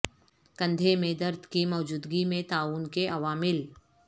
کندھے میں درد کی موجودگی میں تعاون کے عوامل